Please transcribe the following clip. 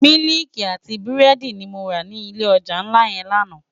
Miliki àti búrédi ni mó rá ni ilé òjá nlá yèn làná